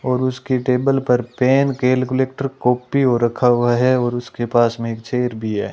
और उसकी टेबल पर पेन कैलकुलेटर कॉपी हो रखा हुआ है और उसके पास में एक चेयर भी है।